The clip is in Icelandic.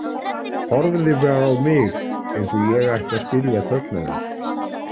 Horfði bara á mig eins og ég ætti að skilja þögn hennar.